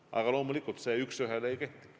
Aga loomulikult see üks ühele ei kehti.